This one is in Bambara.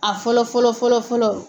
A fɔlɔ fɔlɔ fɔlɔ fɔlɔ.